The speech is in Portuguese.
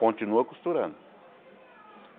Continua costurando.